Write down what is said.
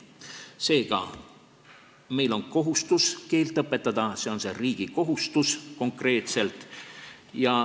Seega, meil on kohustus keelt õpetada, see on konkreetselt riigi kohustus.